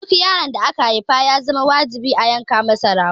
Duk yaron da aka haifa ya zama wajibi a yanka masa rago.